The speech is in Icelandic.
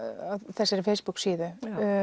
þessari Facebook síðu